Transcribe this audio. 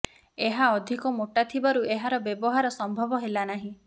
ଏହା ଅଧିକ ମୋଟା ଥବାରୁ ଏହାର ବ୍ୟବହାର ସମ୍ଭବ ହେଲା ନାହିଁ